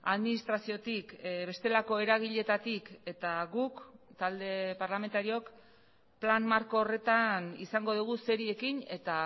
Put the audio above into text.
administraziotik bestelako eragileetatik eta guk talde parlamentariook plan marko horretan izango dugu zeri ekin eta